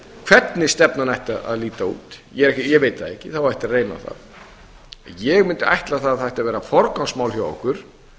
hvernig stefnan ætti að líta út ég veit það ekki það á eftir að reyna á það ég mundi ætla að það ætti að vera forgangsmál hjá okkur